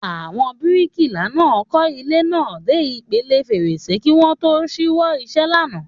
Àwọn bíríkìlà náà kọ́ ilé náà dé ipele fèrèsé kí wọ́n tó ṣíwọ́ iṣẹ́ lánàá